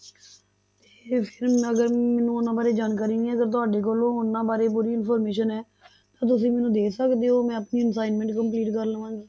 ਮੈਨੂੰ ਉਹਨਾਂ ਬਾਰੇ ਜਾਣਕਾਰੀ ਨਹੀਂ ਆ ਤੇ ਤੁਹਾਡੇ ਕੋਲੋਂ ਉਹਨਾਂ ਬਾਰੇ ਪੂਰੀ information ਹੈ ਤਾਂ ਤੁਸੀਂ ਮੈਨੂੰ ਦੇ ਸਕਦੇ ਹੋ, ਮੈਂ ਆਪਣੀ assignment complete ਕਰ ਲਵਾਂਗੀ